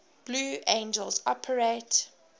blue angels operate